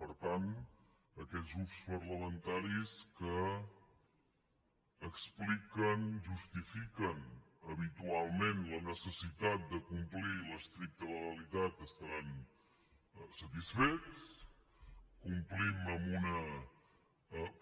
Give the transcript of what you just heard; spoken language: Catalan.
per tant aquells grups parlamentaris que expliquen justifiquen habitualment la necessitat de complir l’estricta legalitat estaran satisfets complim amb una